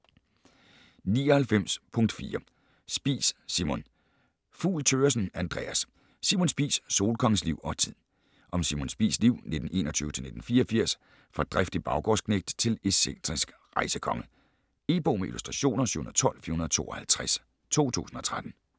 99.4 Spies, Simon Fugl Thøgersen, Andreas: Simon Spies: solkongens liv og tid Om Simon Spies' liv (1921-1984) fra driftig baggårdsknægt til excentrisk rejsekonge. E-bog med illustrationer 712452 2013.